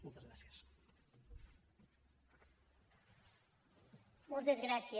moltes gràcies